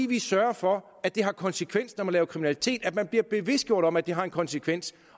vi sørger for at det har konsekvens når man laver kriminalitet at man bliver bevidstgjort om at det har en konsekvens